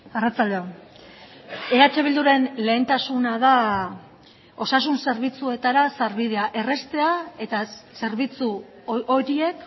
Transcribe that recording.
arratsalde on eh bilduren lehentasuna da osasun zerbitzuetara sarbidea erraztea eta zerbitzu horiek